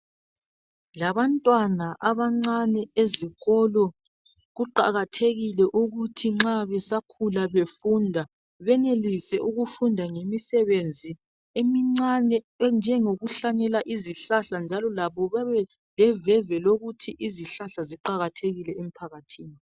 Labantwana abancane ezikolo kuqakathekile ukuthi nxa besakhula befunda benelise ukufunda ngemisebenzi emincane enjengo kuhlanyela izihlahla njalo labo babe leveve lokuthi izihlahla ziqakathekile emphakathini.